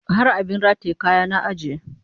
Har abin rataye kaya na ajiye